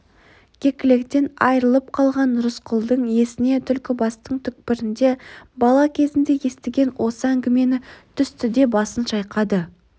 кекіліктен айырылып қалған рысқұлдың есіне түлкібастың түкпірінде бала кезде естіген осы әңгіме түсті де басын шайқады